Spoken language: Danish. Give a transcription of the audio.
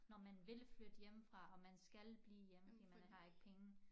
Når man vil flytte hjemmefra og man skal blive hjemme fordi man har ikke penge